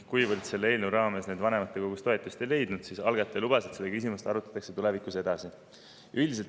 Kuivõrd selle eelnõu raames ettepanek vanematekogus toetust ei leidnud, lubas algataja, et seda küsimust arutatakse tulevikus edasi.